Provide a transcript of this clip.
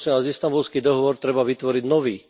Prosím vás, Istanbulský dohovor treba vytvoriť nový.